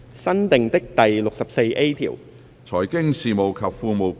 新訂的第 64A 條。